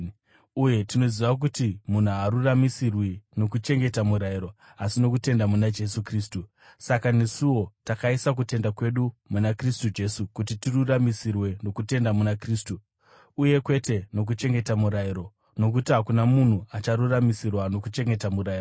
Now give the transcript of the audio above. uye tinoziva kuti munhu haaruramisirwi nokuchengeta murayiro, asi nokutenda muna Jesu Kristu. Saka nesuwo, takaisa kutenda kwedu muna Kristu Jesu kuti tiruramisirwe nokutenda muna Kristu, uye kwete nokuchengeta murayiro, nokuti hakuna munhu acharuramisirwa nokuchengeta murayiro.